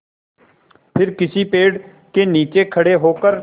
फिर किसी पेड़ के नीचे खड़े होकर